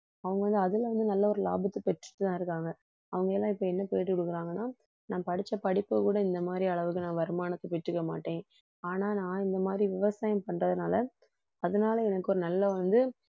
அவங்க வந்து அதில வந்து நல்ல ஒரு லாபத்தை பெற்றுட்டுதான் இருக்காங்க. அவங்க எல்லாம் இப்ப என்ன பேட்டி கொடுக்கறாங்கன்னா நான் படிச்ச படிப்பைவிட இந்த மாதிரி அளவுக்கு நான் வருமானத்தை பெற்றுக்க மாட்டேன், ஆனா நான் இந்த மாதிரி விவசாயம் பண்றதுனால அதனால எனக்கு ஒரு நல்ல வந்து